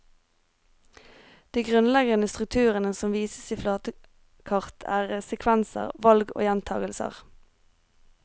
De grunnleggende strukturene som vises i flatekart, er sekvenser, valg og gjentagelser.